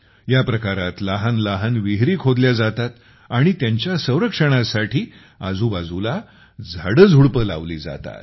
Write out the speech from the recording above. ह्या प्रकारात लहान लहान विहिरी बनवल्या जातात आणि त्यांच्या संरक्षणासाठी आजूबाजूला झाडेझुडपे लावली जातात